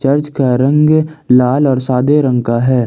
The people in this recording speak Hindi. चर्च का रंग लाल और सादे रंग का है।